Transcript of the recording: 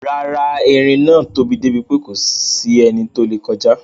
Rárá, eerin náà tóbi débi pé kòsí ẹni tó lè kọjá.